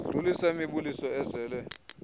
sidlulisa imibuliso ezele